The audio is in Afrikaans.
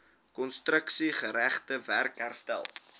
konstruksiegerigte werk herstel